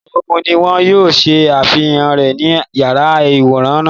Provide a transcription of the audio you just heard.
Ìtàn ogún ni wọ́n yóò ṣe àfihàn rẹ̀ ní yàrá-ìwòran náà